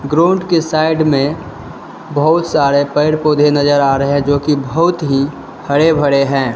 Road के side में बहुत सारे पेड़ पौधे नजर आ रहे हैं जो की बहुत ही हरे भरे हैं।